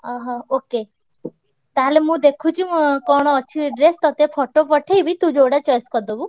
ଅହ! okay ତାହେଲେ ମୁଁ ଦେଖୁଛି ମୋ କଣ ଅଛି dress ତତେ photo ପଠେଇବି| ତୁ ଯୋଉଟା choice କରିଦବୁ।